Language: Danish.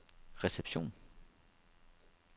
reception